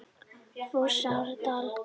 Fossárdal